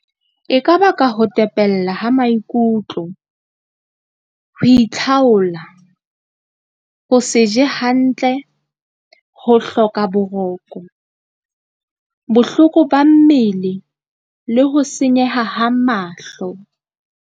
E ka ba ka ho tepella ha maikutlo ho itlhaolla, ho se je hantle, ho hloka boroko, bohloko ba mmele le ho senyeha ha mahlo.